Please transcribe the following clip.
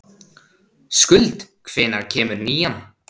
Skuld, hvenær kemur nían?